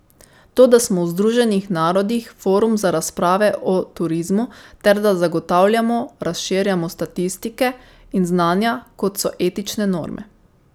To, da smo v Združenih narodih forum za razprave o turizmu ter da zagotavljamo, razširjamo statistike in znanja, kot so etične norme.